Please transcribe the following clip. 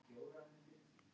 Hefur eitthvað. komið fyrir?